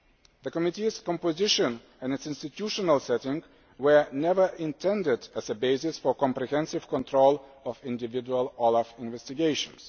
The committee's composition and its institutional setting were never intended as a basis for comprehensive control of individual OLAF investigations.